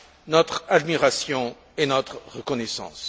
notre admiration et notre reconnaissance.